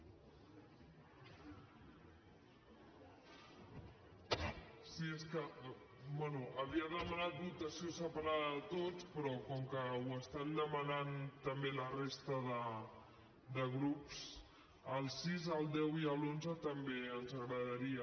bé havia demanat votació separada de tots però com que ho estan demanant també la resta de grups el sis el deu i l’onze també ens agradaria